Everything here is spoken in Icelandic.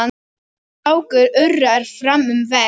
Fákur urrar fram um veg.